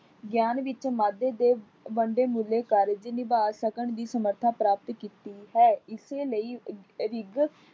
ਗਿਆਨ ਵਿੱਚ ਮਾਦੇ ਦੇ ਬੰਨਦੇ ਮਿਲੇ ਕਾਰਜ ਨਿਭਾ ਸਕਣ ਦੀ ਸਮਰੱਥਾ ਪ੍ਰਾਪਤ ਕੀਤੀ ਹੈ। ਇਸੇ ਲਈ ਅਹ ਰਿੱਗ